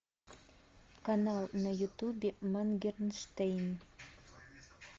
канал на ютубе моргенштерн